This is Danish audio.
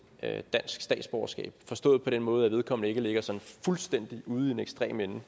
dansk statsborgerskab forstået på den måde at vedkommende ikke ligger sådan fuldstændig ude i den ekstreme ende